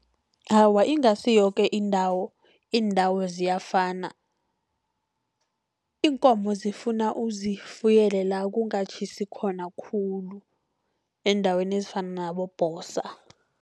Awa, ingasi yoke indawo, iindawo ziyafana. Iinkomo zifuna uzifuyele la kungatjhisi khona khulu, eendaweni ezifana nabobhosa.